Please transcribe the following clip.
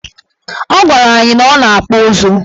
Ọ gwara anyị na ọ na-akpụ ụzụ.